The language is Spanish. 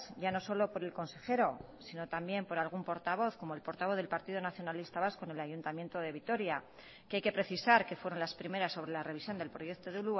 ya no solo por el consejero sino también por algún portavoz como el portavoz del partido nacionalista vasco en el ayuntamiento de vitoria que hay que precisar que fueron las primeras sobre la revisión del proyecto de